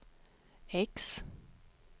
X